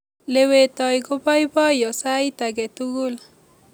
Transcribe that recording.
lewetoi kopaipoiyo sait ake tukul